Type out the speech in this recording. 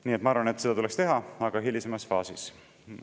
Nii et ma arvan, et seda tuleks teha, aga hilisemas faasis.